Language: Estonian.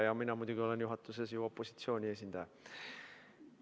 Ja mina olen juhatuses muidugi opositsiooni esindaja.